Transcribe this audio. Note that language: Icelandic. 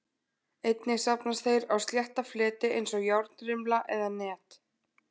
Einnig safnast þeir á slétta fleti eins og járnrimla eða net.